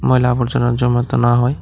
ময়লা আবর্জনা জমাতে না হয়--